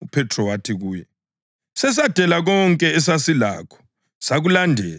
UPhethro wathi kuye, “Sesadela konke esasilakho sakulandela!”